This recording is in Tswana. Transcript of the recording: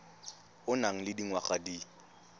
o nang le dingwaga di